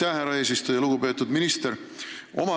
Aitäh, härra eesistuja!